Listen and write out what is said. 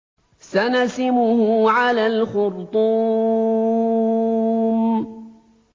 سَنَسِمُهُ عَلَى الْخُرْطُومِ